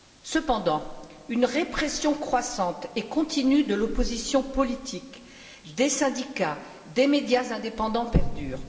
Cependant, une répression croissante et continue de l'opposition politique, des syndicats, des médias indépendants perdure.